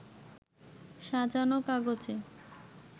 সাজানো কাগজে